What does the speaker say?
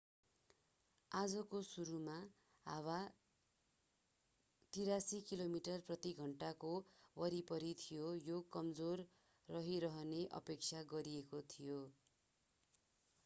आजको सुरुमा हावा 83 किमी प्रति घण्टाको वरिपरि थियो र यो कमजोर रहिरहने अपेक्षा गरिएको थियो